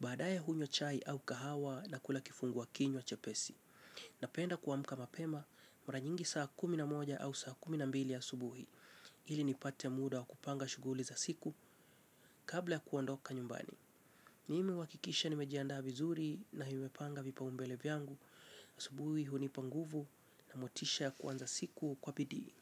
Baadaye hunywa chai au kahawa na kula kifungua kinywa chepesi. Napenda kuamka mapema mara nyingi saa kumi na moja au saa kumi na mbili asubuhi ili nipate muda wa kupanga shughuli za siku kabla ya kuondoka nyumbani. Mimi huhakikisha nimejiandaa vizuri na nimepanga vipaumbele vyangu asubuhi hunipa nguvu na motisha kuanza siku kwa bidii.